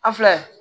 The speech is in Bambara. A filɛ